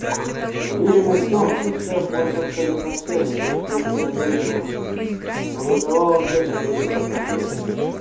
уверенность в том что шеф может абсолютно всё никем вслух не озвучивалась но бытовала у всех сотрудников конторы